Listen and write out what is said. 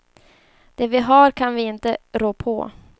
Det vi har kan vi inte rå på.